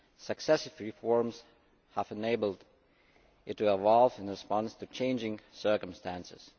Successive reforms have enabled it to evolve in response to changing circumstances.